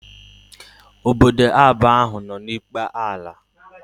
Ọbọdọ na abụọ áhù no n'ikpe ala